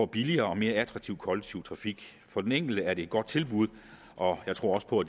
billigere og mere attraktiv kollektiv trafik for den enkelte er det et godt tilbud og jeg tror også på